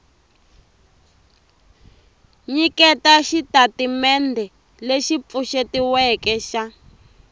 nyiketa xitatimendhe lexi pfuxetiweke xa